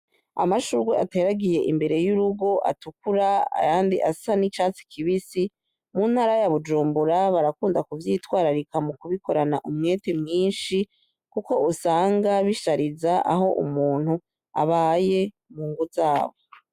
Amashurwe ateragiye imbere y'urugo atukura ayandi asa n'urwatsi rubisi mu ntara ya Bujumbura barakunda ku vyitwararika mu kubikorana umwete mwishi kuko usanga bishariza aho umuntu abaye mungo zabo.